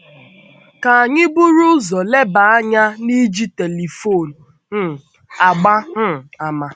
Ka anyị buru ụzọ leba anya n’iji telifon um agba um àmà.